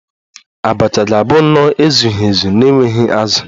Abacha ga-abụ nnọọ ezughị ezu na-enweghị azụ